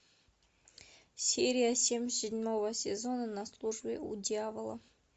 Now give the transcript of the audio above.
серия семь седьмого сезона на службе у дьявола